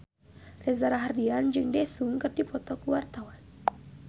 Reza Rahardian jeung Daesung keur dipoto ku wartawan